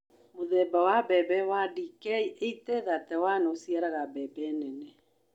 Mũthemba wa mbembe wa DK 8031 ũciaraga mbembe nene